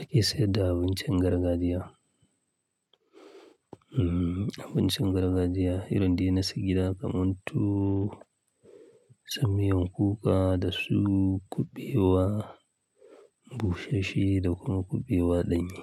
ake sayar da abincin gargajiya. Abincin gargajiya, irin din na sigina kamar tu sumewan kuka da su, kuɓewa, bushashe da kuma kuɓewa danye.